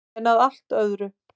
En að allt öðru.